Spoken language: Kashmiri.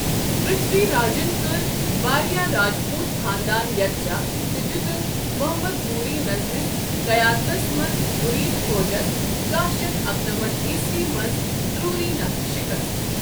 پرتھوی راجن کٔر وارِیاہ راجپوت خاندان یكھجا تہٕ دِیُتن محمد غوری نسدِس قیادتس منز غُرید فوجس کَہہ شیتھ اکنمتھ عیسوی منٛز تروری نكھہٕ شِكست ۔